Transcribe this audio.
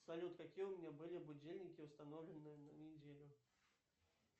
салют какие у меня были будильники установлены на неделю